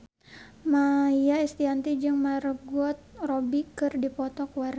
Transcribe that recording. Maia Estianty jeung Margot Robbie keur dipoto ku wartawan